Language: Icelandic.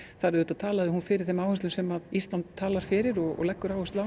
talaði hún fyrir þeim áherslum sem Ísland talar fyrir og leggur áherslu á